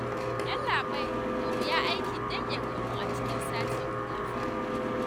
Yallaɓai da wuya aikin nan ya gamu a cikin sati guda fa